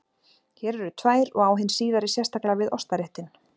Hér eru tvær og á hin síðari sérstaklega við ostaréttinn.